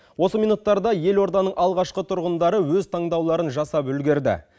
осы минуттарда елорданың алғашқы тұрғындары өз таңдауларын жасап үлгерді